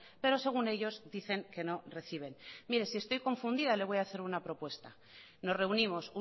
pero según ellos dicen que no reciben mire si estoy confundida le voy a hacer una propuesta nos reunimos